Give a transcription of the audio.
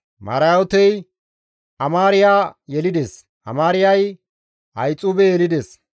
Marayootey Amaariya yelides; Amaariyay Ahixuube yelides;